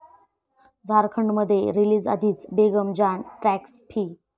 झारखंडमध्ये रिलीजआधीच 'Begum Jaan' 'tax free'